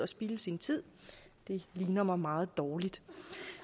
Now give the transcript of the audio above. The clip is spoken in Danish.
spilde sin tid det ligner mig meget dårligt